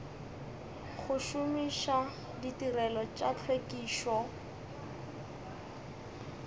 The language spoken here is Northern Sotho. go šomiša ditirelo tša tlhwekišo